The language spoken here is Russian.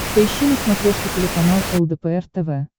поищи на смотрешке телеканал лдпр тв